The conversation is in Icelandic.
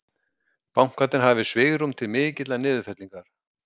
Bankarnir hafi svigrúm til mikillar niðurfellingar